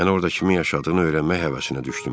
Mən orda kimin yaşadığını öyrənmək həvəsinə düşdüm.